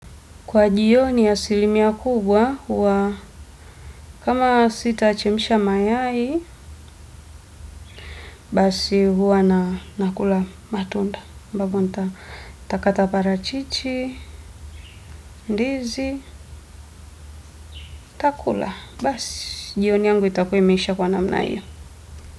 Kwa jioni, asilimia kubwa huwa kama sitachemsha mayai basi huwa nakula matunda sababu nitakata parachichi, ndizi, ntakula. Basi, jioni yangu itakuwa imeisha kwa namna iyo.